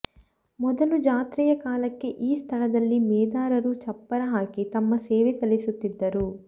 ಮೊದಲು ಜಾತ್ರೆಯ ಕಾಲಕ್ಕೆ ಈ ಸ್ಥಳದಲ್ಲಿ ಮೇದಾರರು ಚಪ್ಪರ ಹಾಕಿ ತಮ್ಮ ಸೇವೆ ಸಲ್ಲಿಸುತ್ತಿದ್ದರು